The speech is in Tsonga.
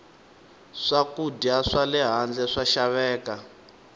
swakudya swale handle swa xaveka